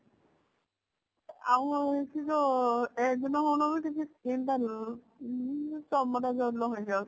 ଆଉ ସେ ଯୋଊ